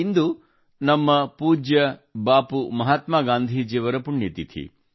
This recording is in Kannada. ಇಂದು ನಮ್ಮ ಪೂಜ್ಯ ಬಾಪು ಮಹಾತ್ಮಾ ಗಾಂಧೀಜಿಯವರ ಪುಣ್ಯತಿಥಿ